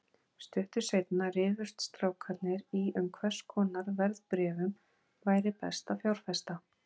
Stuttu seinna rifust strákarnir um í hvers konar verðbréfum væri best að fjárfesta.